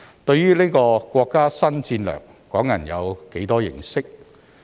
對於這項國家新戰略，港人有多少認識？